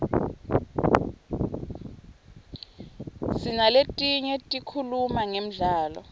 sinaletinye tikhuluma ngemdlalo